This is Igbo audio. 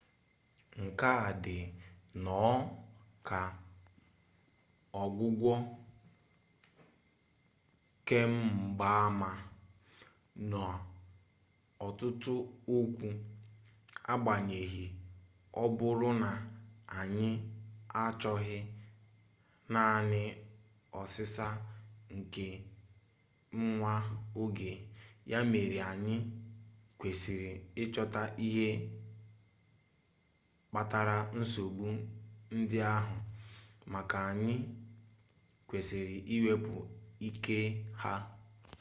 nke a dị nnọọ ka ọgwụgwọ kemgbaama n'ọtụtụ okwu agbanyeghị ọ bụrụ na anyị achọghị naanị ọsịsa nke nwa oge ya mere anyị kwesịrị ịchọta isi ihe kpatara nsogbu ndị ahụ ma anyị kwesịrị iwepụ ike ha